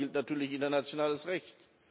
Dabei gilt natürlich internationales Recht.